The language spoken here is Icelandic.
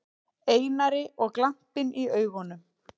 Einari og glampinn í augunum.